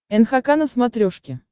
нхк на смотрешке